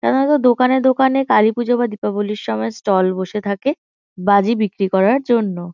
সাধারণত দোকানে দোকানে কালীপুজো বা দীপাবলির সময় স্টল বসে থাকে বাজি বিক্রি করার জন্য।